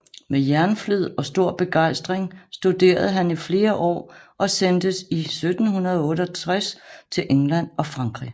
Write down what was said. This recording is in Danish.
Med jernflid og stor begejstring studerede han i flere år og sendtes i 1768 til England og Frankrig